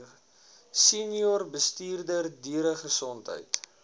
senior bestuurder dieregesondheid